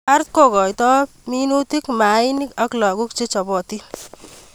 ART kokoitoi binutik, mainik ak lakok chechopotin.